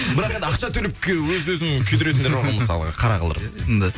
бірақ енді ақша төлеп өз өзін күйдіретіндер бар ғой мысалы қара қылдырып иә енді